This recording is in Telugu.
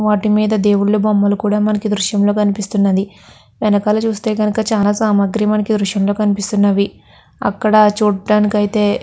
వాటి మీద దేవుళ్ళ బొమ్మలు కూడా మనకి ఈ దృశ్యంలో కనిపిస్తున్నవి. వెనకాల చూస్తే గనక చాలా సామాగ్రి మనకి ఈ దృశ్యం లో కనిపిస్తున్నది. అక్కడ చూడ్డానికి అయితే --